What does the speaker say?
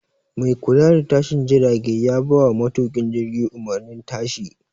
Mai kula da tashin jirage ya bawa matuƙin jirgi umarnin tashi